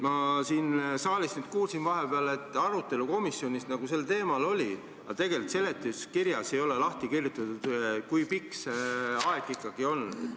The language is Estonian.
Ma siin saalis nüüd kuulsin vahepeal, et arutelu komisjonis nagu sel teemal oli, aga tegelikult seletuskirjas ei ole lahti kirjutatud, kui pikk see aeg ikkagi on.